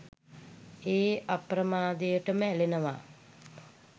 ඒ අප්‍රමාදයටම ඇලෙනවා